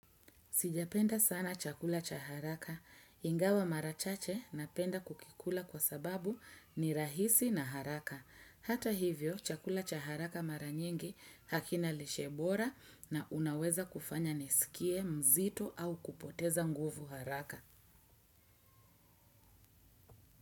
Sijapenda sana chakula cha haraka. Ingawa mara chache napenda kukikula kwa sababu ni rahisi na haraka. Hata hivyo, chakula cha haraka mara nyingi hakina lishe bora na unaweza kufanya niskie mzito au kupoteza nguvu haraka.